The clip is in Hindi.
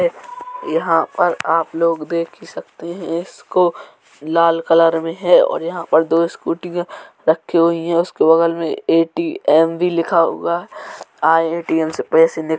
यहाँ पर आप लोग देख ही सकते हैं इसको लाल कलर में है और यहाँ और दो स्कूटीयां रखे हुए हैं और उसके बगल में एटीएम भी लिखा हुआ आयें एटीएम से पैसे निकाले --